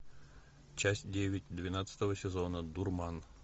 часть девять двенадцатого сезона дурман